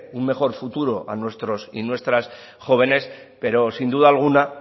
un mejor futuro a nuestros y nuestras jóvenes pero sin duda alguna